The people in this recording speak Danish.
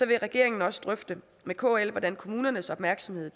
vil regeringen også drøfte med kl hvordan kommunernes opmærksomhed